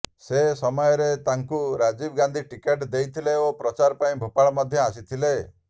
ସେ ସମୟରେ ତାଙ୍କୁ ରାଜୀବ ଗାନ୍ଧୀ ଟିକେଟ୍ ଦେଇଥିଲେ ଓ ପ୍ରଚାର ପାଇଁ ଭୋପାଳ ମଧ୍ୟ ଆସିଥିଲେ